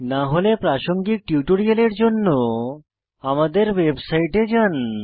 না হলে প্রাসঙ্গিক টিউটোরিয়ালের জন্য আমাদের ওয়েবসাইটে যান